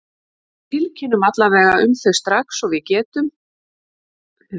Við tilkynnum alla vega um þau strax og við getum sent skeyti, sagði hann þurrlega.